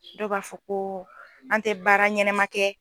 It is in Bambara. Dɔw b'a fɔ ko an tɛ baara ɲɛnɛma kɛ.